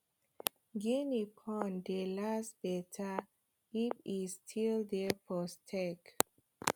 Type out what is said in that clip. guinea corn dey last better if e still dey for stalk